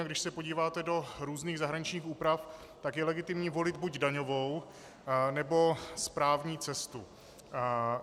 A když se podíváte do různých zahraničních úprav, tak je legitimní volit buď daňovou, nebo správní cestu.